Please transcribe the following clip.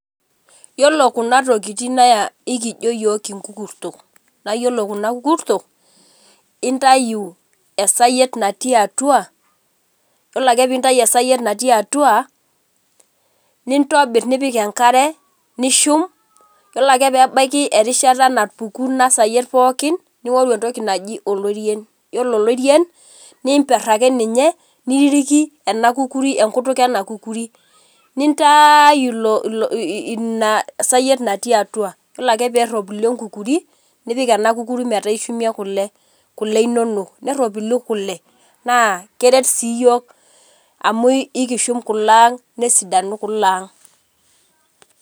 Yiolo kunatokitin na ekijo yiok inkukurtok nayiolo kuna kukurtok intayu esayiet nati atua yiolo ake pintau esayiet natii atua nintobir nipik enkare, nishur ore ake pebaki erishata napuku inasayiet pookin ningoru entoki naji olorien, yiolo olorien nimper ake ninye niiriki enkutuk enakukuri nintaaayu inasayiet natii atua, yiolo ak pesapuku enkukuri nipik enakukuri metaabishumie kule, kule inonok neropilu kule na keret si yiol amu ekiret kule aang nesidanu kule aang.